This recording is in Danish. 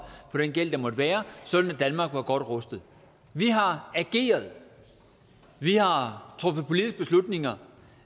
på den gæld der måtte være sådan at danmark var godt rustet vi har ageret vi har truffet politiske beslutninger